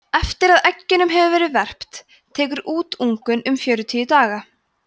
eftir að eggjunum hefur verið verpt tekur útungun um fjörutíu daga